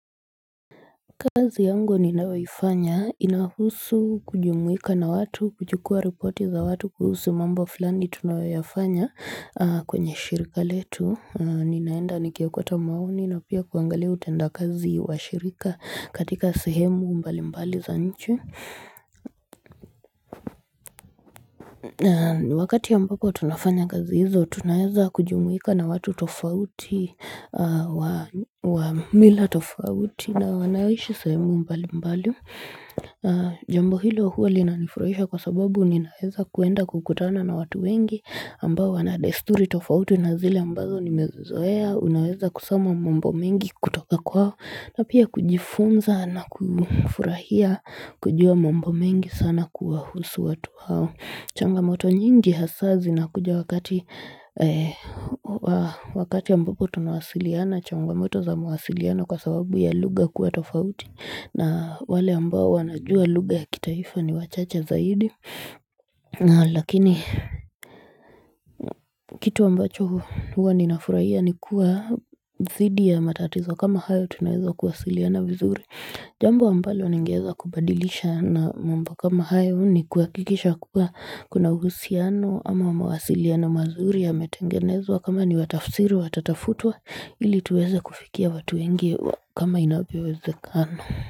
Kazi yangu ninayoifanya inahusu kujumuika na watu kujukua reporti za watu kuhusu mambo fulani tunayoyafanya kwenye shirika letu ninaenda nikiokota maoni na pia kuangalia utenda kazi wa shirika katika sehemu mbalimbali za nchi Wakati ambako tunafanya kazi hizo tunaeza kujumuika na watu tofauti wa mila tofauti na wanaoishi sehemu mbalimbali Jambo hilo huwa linanifurahisha kwa sababu ninaeza kuenda kukutana na watu wengi ambao wana desturi tofauti na zile ambazo nimezoea Unaeza kusoma mambo mengi kutoka kwao na pia kujifunza na kufurahia kujua mambo mengi sana kuwahusu watu hao changamoto nyingi hasaa zinakuja wakati ambapo tunawasiliana changamoto za mwasiliano kwa sababu ya lugha kuwa tofauti na wale ambao wanajua lughga ya kitaifa ni wachache zaidi Lakini kitu ambacho huwa ninafuraia ni kuwa thidi ya matatizo kama hayo tunaweza kuwasiliana vizuri Jambo ambalo ningeeza kubadilisha na mambo kama hayo ni kuhakikisha kuwa kuna uhusiano ama mawasiliano mazuri yametengenezwa kama ni wa tafsiri watatafutwe ili tuweze kufikia watu wengi wa kama inavyowezekana.